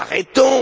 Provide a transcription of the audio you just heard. Arrêtons!